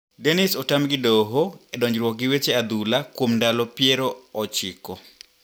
Dennis otam gi doho e donjruok gi weche adhula kuom ndalo piero ochiko.